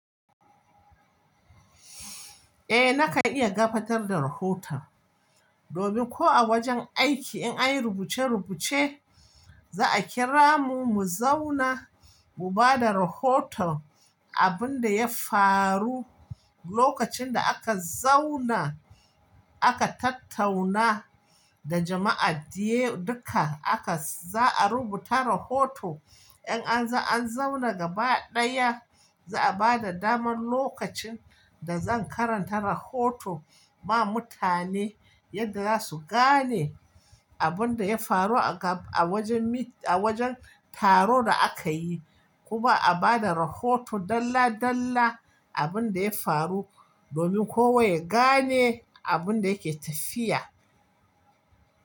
Eh, nakan iya gabatar da rahoto. Domin ko a wajen aiki in anyi rubuce rubuce, za a kira mu mu zauna mu bada rahoton abin da ya faru. Lokacin da aka zauna aka tattauna da jama'a duka, za a rubuta rahoto. In an zauna gaba ɗaya, za a bada damar lokacin da zan karanta rahoto ma mutane yadda za su gane abin da ya faru a wajen taron da aka yi. Kuma a bada rahoto dalla dalla abin da ya faru domin kowa ya gane abun da yake tafiya.